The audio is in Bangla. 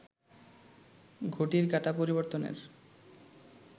ঘটির কাঁটা পরিবর্তনের